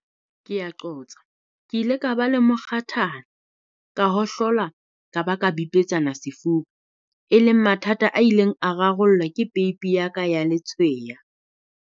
"Ke ile ka ba le mokgathala, ka hohlola ka ba ka bipetsana sefuba, e leng mathata a ileng a rarollwa ke peipi ya ka ya letshweya."